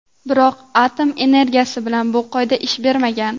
Biroq atom energetikasi bilan bu qoida ish bermagan.